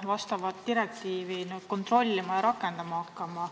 rakendama ja selle täitmist kontrollima hakkama.